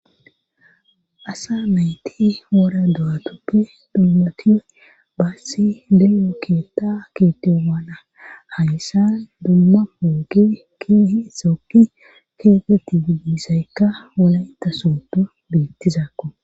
Asa mayti wora do'atuppe dummati baassi leyo keetta keete waana hayssa dumma poogi keehi isookki keegeti didiisaykka wola ita sooto biittizakko.